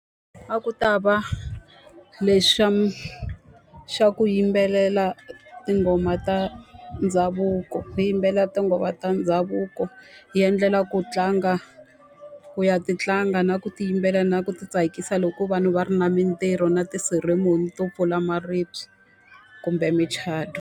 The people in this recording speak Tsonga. A ku ta va lexi xa xa ku yimbelela tinghoma ta ndhavuko. Hi yimbelela tinghoma ta ndhavuko hi endlela ku tlanga ku ya ti tlanga, na ku ti yimbelela, na ku ti tsakisa loko vanhu va ri na mintirho na ti-ceeremory to pfula maribye kumbe micato.